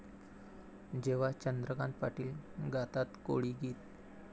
...जेव्हा चंद्रकांत पाटील गातात कोळी गीत!